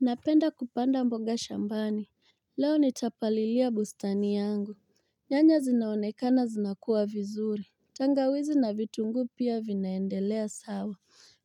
Napenda kupanda mboga shambani. Leo nitapalilia bustani yangu. Nyanya zinaonekana zinakua vizuri. Tangawizi na vitunguu pia vinaendelea sawa.